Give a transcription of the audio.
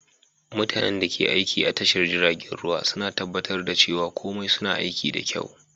Mutanen da ke aiki a tashar jiragen ruwa suna tabbatar da cewa komai su na aiki da kyau.